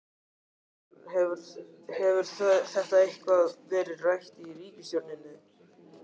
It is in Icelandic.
Þorbjörn: Hefur þetta eitthvað verið rætt í ríkisstjórninni?